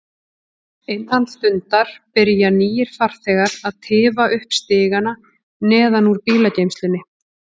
Innan stundar byrja nýir farþegar að tifa upp stigana neðan úr bílageymslunni.